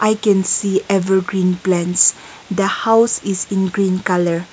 we can see evergreen plants the house is in green colour.